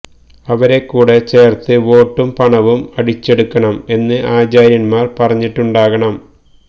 അവരെ കൂടെ ചേർത്ത് വോട്ടും പണവും അടിച്ചെടുക്കണം എന്ന് ആചാര്യന്മാർ പറഞ്ഞിട്ടുണ്ടാകണം